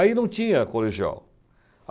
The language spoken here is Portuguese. Aí não tinha colegial.